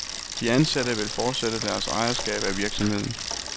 De ansatte vil fortsætte deres ejerskab af virksomheden.